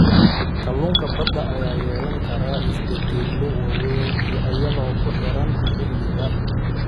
Kalluunka badda ayaa yeelan kara isbeddello waaweyn iyadoo ku xiran xilliga.